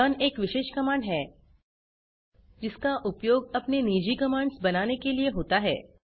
learn एक विशेष command है जिसका उपयोग अपने निजी कमांड्स बनाने के लिए होता है